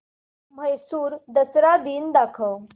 म्हैसूर दसरा दिन दाखव